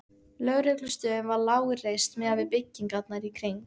Lögreglustöðin var lágreist miðað við byggingarnar í kring.